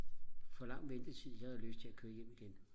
for lang ventetid jeg havde lyst til og køre hjem igen